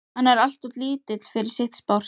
Hann er alltof lítill fyrir sitt sport.